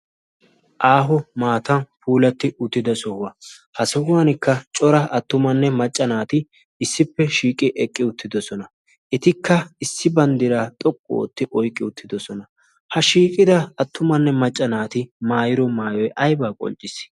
aaho maatan puulatti uttida sohuwa ha sohuwankka cora attumanne maccanaati issippe shiiqi eqqi uttidosona. etikka issi banddira xoqqu ootti oiqqi uttidosona. ha shiiqida attumanne macca naati maayiro maayoi aibaa qoncciis.